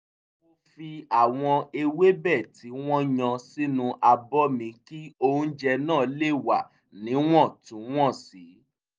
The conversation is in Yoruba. mo fi àwọn ewébẹ̀ tí wọ́n yan sínú abọ́ mi kí oúnjẹ náà lè wà níwọ̀ntúnwọ̀nsì